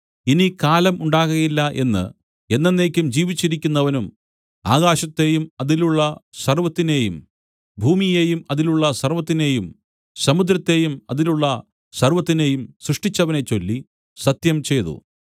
ഇനി കാലം ഉണ്ടാകയില്ല എന്ന് എന്നെന്നേക്കും ജീവിച്ചിരിക്കുന്നവനും ആകാശത്തെയും അതിലുള്ള സർവ്വത്തിനേയും ഭൂമിയേയും അതിലുള്ള സർവ്വത്തിനേയും സമുദ്രത്തേയും അതിലുള്ള സർവ്വത്തിനേയും സ്രഷ്ടിച്ചവനെ ചൊല്ലി സത്യംചെയ്തു